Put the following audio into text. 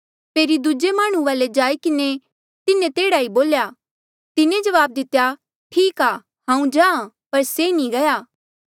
फेरी दूजे माह्णुं वाले जाई किन्हें तिन्हें तेह्ड़ा ई बोल्या तिन्हें जवाब दितेया ठीक आ हांऊँ जाहाँ पर से नी गया